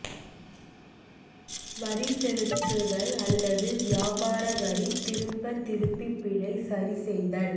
வரி செலுத்துதல் அல்லது வியாபார வரி திரும்ப திருப்பி பிழை சரி செய்தல்